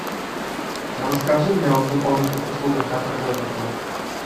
расскажи мне о дополнительных услугах которые дает отель